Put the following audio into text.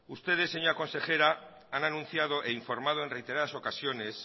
ustedes señora consejera han anunciado e informado en reiteradas ocasiones